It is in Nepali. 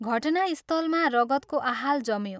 घटनास्थलमा रगतको आहाल जम्यो।